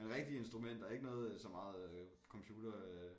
Men rigtige instrumenter ikke noget så meget computer øh